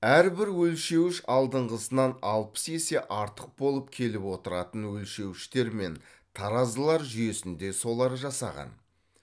әрбір өлшеуіш алдыңғысынан алпыс есе артық болып келіп отыратын өлшеуіштер мен таразылар жүйесін де солар жасаған